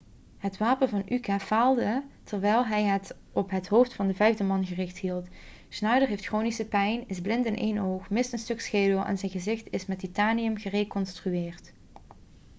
het wapen van uka faalde terwijl hij het op het hoofd van een vijfde man gericht hield schneider heeft chronische pijn is blind in één oog mist een stuk schedel en zijn gezicht is met titanium gereconstrueerd